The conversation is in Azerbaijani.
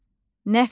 Nəfəs.